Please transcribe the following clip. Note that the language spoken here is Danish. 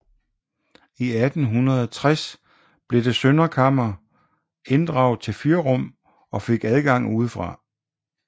I 1860 blev det søndre kammer inddraget til fyrrum og fik adgang udefra